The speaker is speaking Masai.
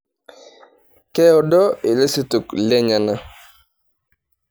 Keado ilosotok lenyenak.